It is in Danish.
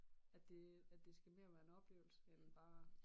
At det at det skal mere være en oplevelse end bare